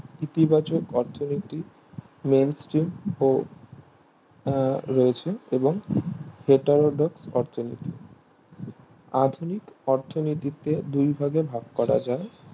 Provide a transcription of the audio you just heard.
ইতিবাচক অর্থনীতি main stream ও আহ রয়েছে ফেটারোড অর্থনীতি অর্থনীতিকে দুই ভাগে ভাগ করা যায়